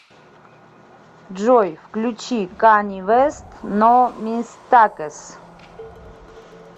джой включи кани вест но мистакес